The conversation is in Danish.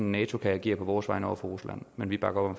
nato kan agere på vores vegne over for rusland men vi bakker